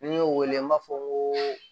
Ni n y'o wele n b'a fɔ ko